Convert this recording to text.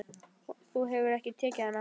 Þú hefur ekki tekið hana?